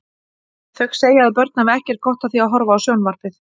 Þau segja að börn hafi ekkert gott af því að horfa á sjónvarpið.